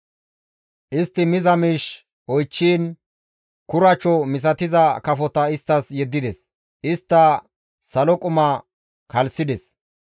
Istti miza miish oychchiin kuracho misatiza kafota isttas yeddides; istta salo quma kalisides.